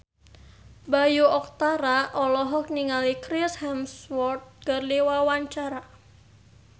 Bayu Octara olohok ningali Chris Hemsworth keur diwawancara